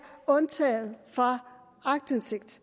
undtaget fra aktindsigt